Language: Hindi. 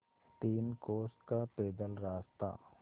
तीन कोस का पैदल रास्ता